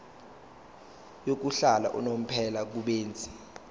yokuhlala unomphela kubenzi